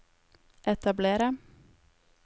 etablere